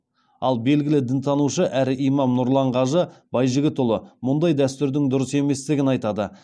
ал белгілі дінтанушы әрі имам нұрлан қажы байжігітұлы мұндай дәстүрдің дұрыс еместігін айтады